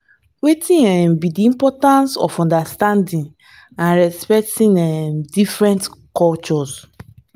wetin um be di importance of understanding and respecting um different cultures?